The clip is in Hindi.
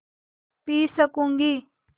पी सकँूगी